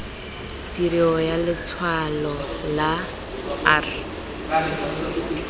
tirio ya letshwalo la r